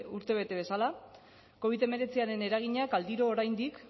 urtebete bezala covid hemeretziaren eraginak aldiro oraindik